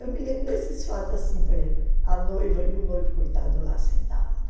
Eu me lembro desses fatos assim, por exemplo, a noiva e o noivo coitado lá sentado.